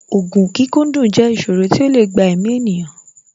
Ògùn kíkúndùn jẹ́ ìsòro tí ó lè gba èmi ènìyàn